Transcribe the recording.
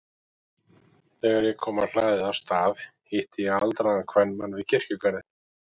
Þegar ég kom á hlaðið á Stað hitti ég aldraðan kvenmann við kirkjugarðinn.